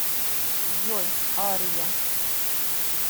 джой ария